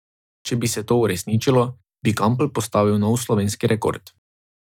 Če bi se to uresničilo, bi Kampl postavil nov slovenski rekord.